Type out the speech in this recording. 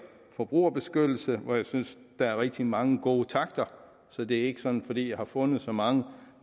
forbrugerbeskyttelse hvor jeg synes der er rigtig mange gode takter så det er ikke sådan fordi jeg har fundet så mange